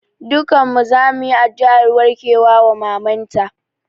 Dukkan mu zamu yi addu'ar warkewa wa maman ta